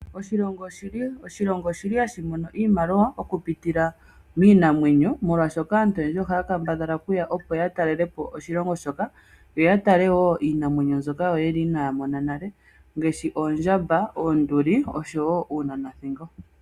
Oshilongo ohashi mono iimaliwa okupitila miinamwenyo. Aantu oyendji ohaa kambadhala oku ya opo ya talelepo oshilongo shoka yo ya tale iinamwenyo mbyoka inaaya mona nale ngaashi Oondjamba, oonduli nosho woo uunanathingo.